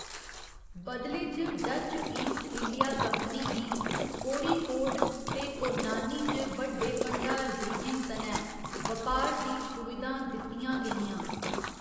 बदले च Dutch East India Company गी कोड़िकोड ते पोन्नानी च बड्डे भंडारगृहें सनै बपार दी सुविधां दित्तियां गेइयां।